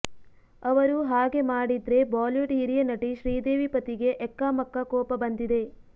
ಅವರು ಹಾಗೆ ಮಾಡಿದ್ರೆ ಬಾಲಿವುಡ್ ಹಿರಿಯ ನಟಿ ಶ್ರೀದೇವಿ ಪತಿಗೆ ಎಕ್ಕಾಮಕ್ಕಾ ಕೋಪ ಬಂದಿದೆ